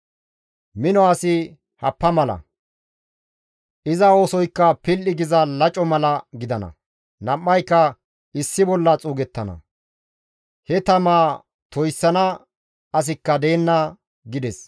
Mino asi happa mala; iza oosoykka pil7i giza laco mala gidana; nam7ayka issi bolla xuugettana; he tamaa toyssana asikka deenna» gides.